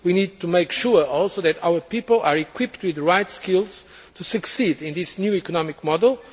We also need to make sure that our people are equipped with the right skills to succeed in this new economic model.